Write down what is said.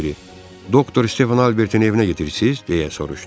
Onlardan biri: Doktor Stepan Albertin evinə gedirsiz, deyə soruşdu.